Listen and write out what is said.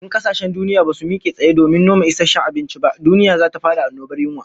In kasashen duniya basu mike tsaye domin noma isasshen abinci ba, duniya zata fada annobar yunwa